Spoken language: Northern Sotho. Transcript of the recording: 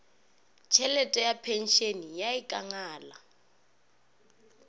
tšhelete ya phenšene ya ikangala